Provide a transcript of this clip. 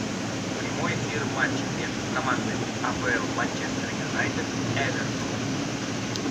прямой эфир матча между командами апл манчестер юнайтед эвертон